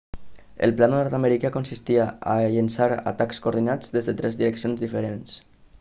el pla nord-americà consistia a llençar atacs coordinats des de tres direccions diferents